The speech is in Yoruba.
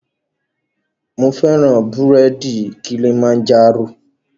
Mo fẹ́ràn búrèdì Kilimanjaro